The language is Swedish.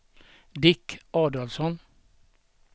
Dick Adolfsson